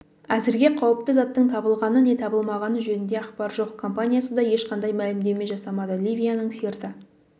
әзірге қауіпті заттың табылғаны не табылмағаны жөнінде ақпар жоқ компаниясы да ешқандай мәлімдеме жасамады ливияның сирта